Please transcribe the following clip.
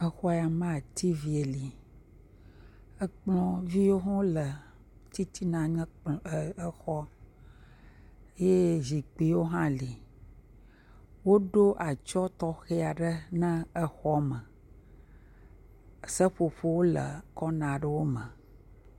Exɔya mea tv li, ekplɔviwo hã wole titina na ekplɔ..exɔa ye zikpuiwo hã le, woɖo atsyɔ̃ tɔxɛ aɖe na xɔa me, seƒoƒowo le kona aɖe me.